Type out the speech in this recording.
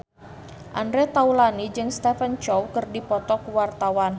Andre Taulany jeung Stephen Chow keur dipoto ku wartawan